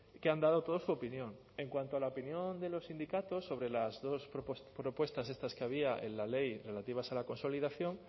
que han dado todos su opinión en cuanto a la opinión de los sindicatos sobre las dos propuestas estas que había en la ley relativas a la consolidación